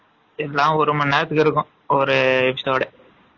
என்ன ஒரு மணி நேரத்துக்கு இருக்கும் ஒரு episode